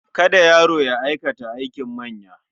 Kada yaro ya aikata aikin manya. suppose to do.